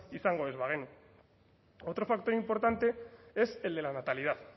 izango ez bagenu otro factor importante es el de la natalidad